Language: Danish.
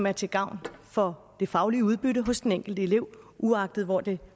er til gavn for det faglige udbytte hos den enkelte elev uagtet hvor det